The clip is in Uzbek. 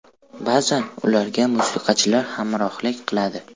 Ba’zan ularga musiqachilar hamrohlik qiladi.